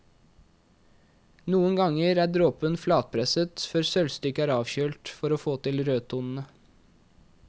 Noen ganger er dråpen flatpresset før sølvstykket er avkjølt for å få til rødtonene.